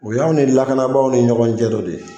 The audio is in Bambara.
O y'anw ni lakanabaw ni ɲɔgɔn cɛ dɔ de ye